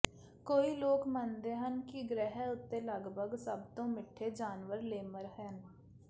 ਕਈ ਲੋਕ ਮੰਨਦੇ ਹਨ ਕਿ ਗ੍ਰਹਿ ਉੱਤੇ ਲਗਭਗ ਸਭ ਤੋਂ ਮਿੱਠੇ ਜਾਨਵਰ ਲੇਮਰ ਹਨ